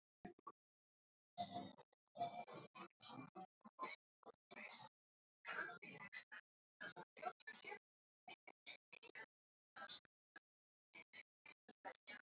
segi ég og hljóma nú alveg eins og prestur, fullkomlega